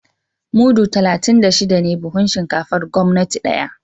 Mudu talatin da shida ne buhun shinkafar gwamnati daya